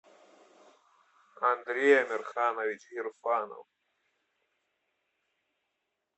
андрей амирханович гирфанов